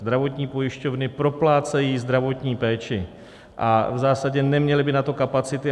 Zdravotní pojišťovny proplácejí zdravotní péči a v zásadě neměly by na to kapacity.